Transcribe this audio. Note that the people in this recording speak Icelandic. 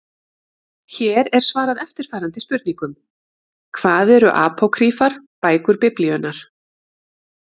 Hér er svarað eftirfarandi spurningum: Hvað eru apókrýfar bækur Biblíunnar?